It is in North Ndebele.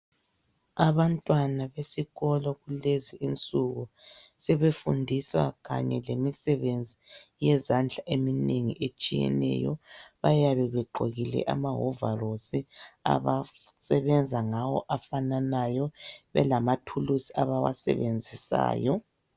Abantwana besikolo kulezi insuku sebefundiswa kanye lemisebenzi yezandla eminengi etshiyeneyo bayabe begqokile amahovarosi abasebenza ngawo afananayo belamathulusi abawasebenzisayo